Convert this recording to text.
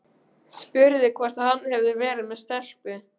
Spurði hvort hann hefði verið með stelpu.